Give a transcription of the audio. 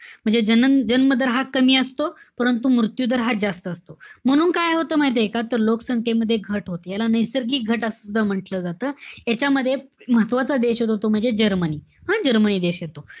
म्हणजे जनन~ जन्म दर हा कमी असतो. परंतु, मृत्यू दर हा जास्त असतो. म्हणून काय होतं माहितीय का? तर लोकसंख्येमध्ये घट होते. याला नैसर्गिक घट असं सुद्धा म्हंटल जात. यांच्यामध्ये, महत्वाचा देश येतो तो म्हणजे, जर्मनी. हं? जर्मनी देश येतो.